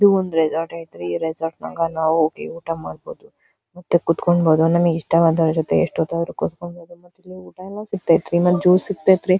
ಇದು ಒಂದು ರೆಸೋರ್ಟ್ ಐತ್ರಿ ಈ ರೆಸೋರ್ಟ್ ನಾಗ ನಾವು ಹೋಗಿ ಊಟ ಮಾಡ್ಬಹುದು ಮತ್ತೆ ಕುಂತ್ಕೊಂದ ಬಹುದು ನಮಗಿಷ್ಟವಾದವ್ರ ಜೊತೆ ಎಸ್ಟೊತ್ತ ಆದ್ರು ಕುತ್ಕೊಬಹುದು ಮತ್ತ ಊಟ ಎಲ್ಲಾ ಮತ್ತ ಜ್ಯುಸ್‌ ಇರ್ತೈತ್ರಿ .